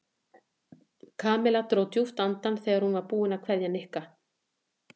Kamilla dró djúpt andann þegar hún var búin að kveðja Nikka.